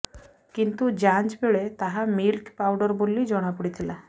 କିନ୍ତୁ ଯାଞ୍ଚ ବେଳେ ତାହା ମିଲ୍କ ପାଉଡର ବୋଲି ଜଣାପଡ଼ିଥିଲା